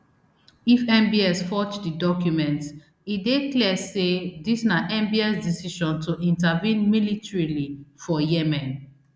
if mbs forge di documents e dey clear say dis na mbs decision to intervene militarily for yemen